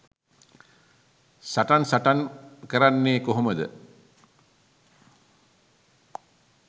සටන් සටන් කරන්නේ කොහොමද?